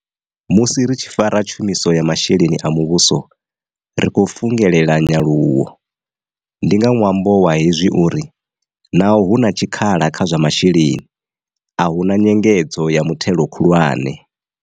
Musi ri tshi fara tshumiso ya masheleni a muvhuso, ri khou fungelela nyaluwo. Ndi nga ṅwambo wa hezwi uri, naho hu na tshikhala kha zwa masheleni, a hu na nyengedzo ya muthelo khulwane.